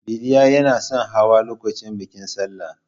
Billal yanason hawa lokacin bikin Salla.